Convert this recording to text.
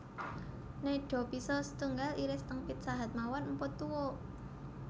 Nedha pizza setunggal iris teng Pizza Hut mawon mpun tuwuk